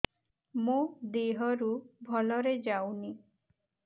ମୋ ଦିହରୁ ଭଲରେ ଯାଉନି